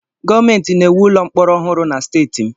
Gọọmentị na-ewu ụlọ mkpọrọ ọhụrụ na steeti m.